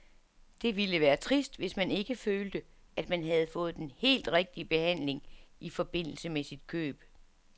Det ville være trist, hvis man ikke følte, at man havde fået den helt rigtige behandling i forbindelse med sit køb.